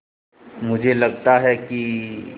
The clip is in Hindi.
मुझे लगता है कि